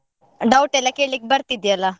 Doubt ಎಲ್ಲ ಕೇಲಿಕ್ ಬರ್ತಿದ್ಯಲ್ಲ.